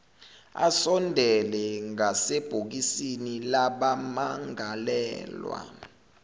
asondele ngasebhokisini labamangalelwa